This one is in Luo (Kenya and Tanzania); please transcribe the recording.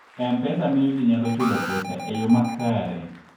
M-Pesa miyo ji nyalo chulo pesa e yo makare.